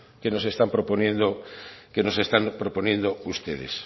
que nos están proponiendo ustedes